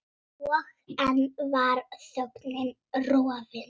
Og enn var þögnin rofin.